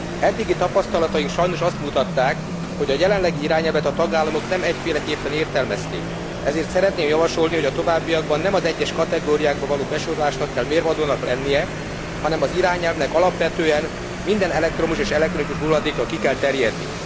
Eddigi tapasztalataink sajnos azt mutatták, hogy a jelenlegi irányelvet a tagállamok nem egyféleképpen értelmezték, ezért szeretném javasolni, hogy a továbbiakban nem az egyes kategóriákba való besorolásnak kell mérvadónak lennie, hanem az irányelvnek alapvetően minden elektromos és elektronikus hulladékra ki kell terjednie.